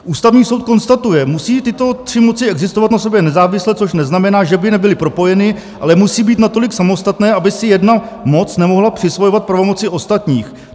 Ústavní soud konstatuje: musí tyto tři moci existovat na sobě nezávisle, což neznamená, že by nebyly propojeny, ale musí být natolik samostatné, aby si jedna moc nemohla přisvojovat pravomoci ostatních.